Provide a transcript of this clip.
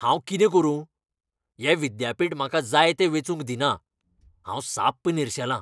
हांव कितें करुं ? हें विद्यापीठ म्हाका जाय तें वेंचूंक दिना. हांव साप निरशेलां.